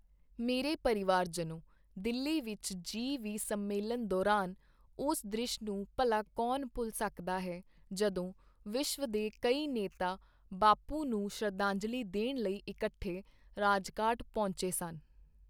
ਮੇਰੇ ਪਰਿਵਾਰਜਨੋ, ਦਿੱਲੀ ਵਿੱਚ ਜੀ ਵੀਹ ਸੰਮੇਲਨ ਦੌਰਾਨ ਉਸ ਦ੍ਰਿਸ਼ ਨੂੰ ਭਲਾ ਕੌਣ ਭੁੱਲ ਸਕਦਾ ਹੈ, ਜਦੋਂ ਵਿਸ਼ਵ ਦੇ ਕਈ ਨੇਤਾ ਬਾਪੂ ਨੂੰ ਸ਼ਰਧਾਂਜਲੀ ਦੇਣ ਲਈ ਇਕੱਠੇ ਰਾਜਘਾਟ ਪਹੁੰਚੇ ਸਨ।